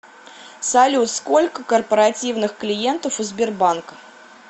салют сколько корпоративных клиентов у сбербанка